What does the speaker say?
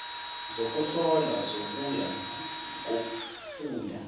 zokuhlolwa zokuya kofunda